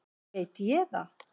veit ég það?